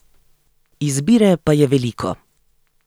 Izbire pa je veliko.